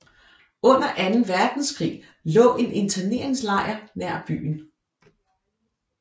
Under anden verdenskrig lå en interneringslejr nær byen